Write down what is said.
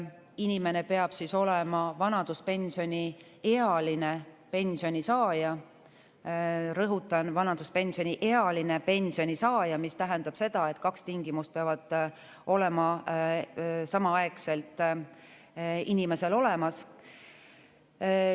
Inimene peab olema vanaduspensioniealine pensionisaaja – rõhutan, vanaduspensioniealine pensionisaaja, mis tähendab seda, et kaks tingimust peavad olema samaaegselt täidetud.